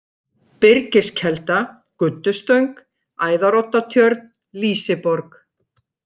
Byrgiskelda, Guddustöng, Æðaroddatjörn, Lýsiborg